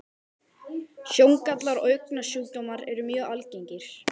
Sjóngallar og augnsjúkdómar eru mjög algengir.